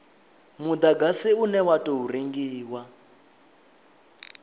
mudagasi une wa tou rengiwa